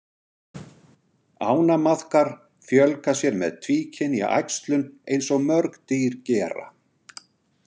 Ánamaðkar fjölga sér með tvíkynja æxlun eins og mörg dýr gera.